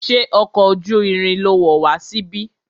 Ṣé ọkọ̀ ojú irin lo wọ̀ wá síbí?